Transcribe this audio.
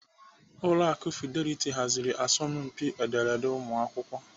Ụlọ akụ Fidelity haziri asọmpi ederede ụmụakwụkwọ.